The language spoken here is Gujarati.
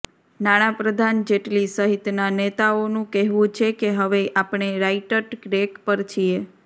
નાણાંપ્રધાન જેટલી સહિતના નેતાઓનું કહેવું છે કે હવે આપણે રાઈટટ્ રેક પર છીએ